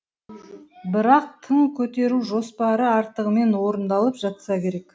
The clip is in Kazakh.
бірақ тың көтеру жоспары артығымен орындалып жатса керек